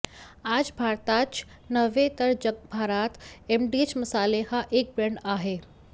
आज भारतातच नव्हे तर जगभरात एमडीएच मसाले हा एक ब्रँड आहे